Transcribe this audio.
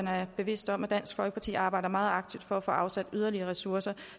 er bevidst om at dansk folkeparti arbejder meget aktivt for at for afsat yderligere ressourcer